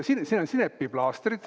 Siin on sinepiplaastrid.